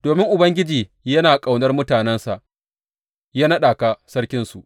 Domin Ubangiji yana ƙaunar mutanensa, ya naɗa ka sarkinsu.